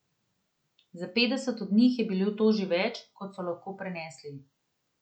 Za petdeset od njih je bilo to že več, kot so lahko prenesli.